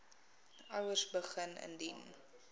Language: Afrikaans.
ouers begin indien